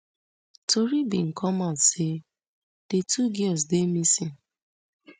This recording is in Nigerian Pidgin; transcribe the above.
tori bin come out say di two girls dey missing